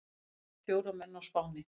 Drap fjóra menn á Spáni